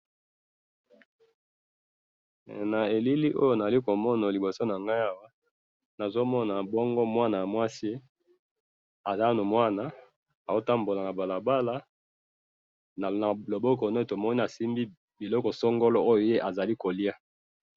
na elili oyo nazali komona liboso nangayi awa nazo mona bongo mwana mwasi aza nanu mwana azo tambola na balabala na loboko naye tomoni asimbi biloko songolo oyo ye azali koliya.